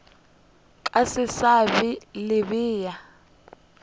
ka se sa le bea